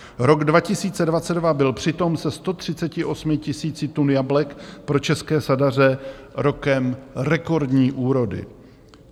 Rok 2022 byl přitom se 138 000 tun jablek pro české sadaře rokem rekordním úrody.